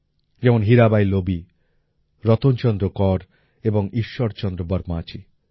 যেমন হীরাবাঈ লোবী রতন চন্দ্র কর এবং ঈশ্বর চন্দ্র বর্মাজী